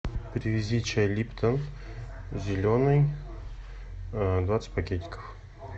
привези чай липтон зеленый двадцать пакетиков